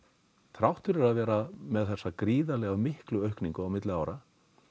þrátt fyrir að vera með þessa gríðarlega miklu aukningu á milli ára